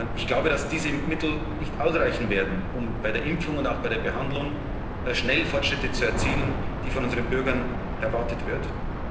verbessern. Ich glaube, dass diese Mittel nicht ausreichen werden, um bei der Impfung und auch bei der Behandlung schnell Fortschritte zu erzielen, die von unseren Bürgern erwartet